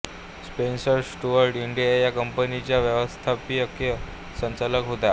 Spencer Stuart India या कंपनीच्या व्यवस्थापकीय संचालक होत्या